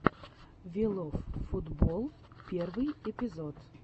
виловфутболл первый эпизод